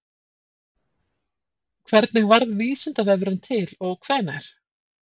Hvernig varð Vísindavefurinn til og hvenær?